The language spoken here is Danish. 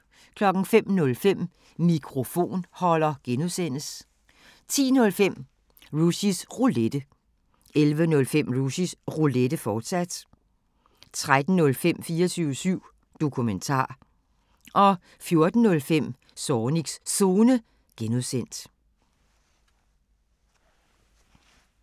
05:05: Mikrofonholder (G) 10:05: Rushys Roulette 11:05: Rushys Roulette, fortsat 13:05: 24syv Dokumentar 14:05: Zornigs Zone (G)